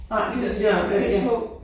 Nej de der øh ja